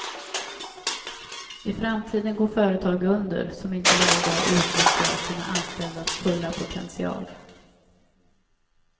I framtiden går företag under som inte varje dag utnyttjar sina anställdas fulla potential.